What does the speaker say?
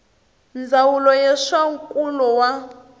ndzawulo ya swa nkulo wa